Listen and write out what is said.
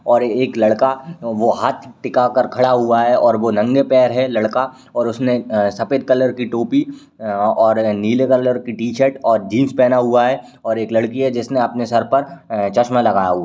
और एक लड़का वो हाथ टिका कर खड़ा हुआ है और वो नंगे पैर है लड़का और उसने अं सफ़ेद कलर की टोपी अं और नीले कलर की टी-शर्ट और जीन्स पहना हुआ है और एक लड़की है जिसने अपने सर पर अं चश्मा लगाया हुआ--।